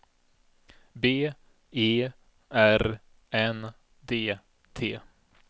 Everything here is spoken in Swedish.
B E R N D T